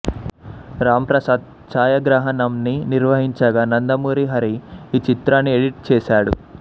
రామ్ ప్రసాద్ ఛాయాగ్రహణంని నిర్వహించగా నందమూరి హరి ఈ చిత్రాన్ని ఎడిట్ చేసాడు